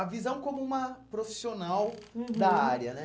A visão como uma profissional, uhum, da área, né?